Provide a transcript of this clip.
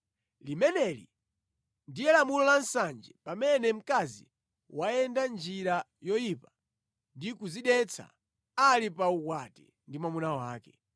“ ‘Limeneli ndiye lamulo la nsanje pamene mkazi wayenda njira yoyipa ndi kudzidetsa ali pa ukwati ndi mwamuna wake,